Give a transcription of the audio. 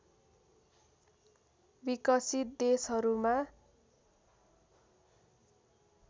विकसित देशहरूमा